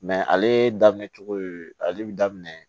ale daminɛ cogo ale bi daminɛ